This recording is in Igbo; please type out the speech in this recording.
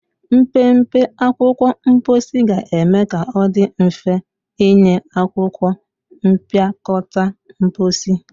Mpempe akwụkwọ mposi ga-eme ka ọ dị mfe ịnye akwụkwọ mpịakọta mposi.